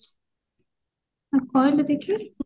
ତୁ କହିଲୁ ଦେଖି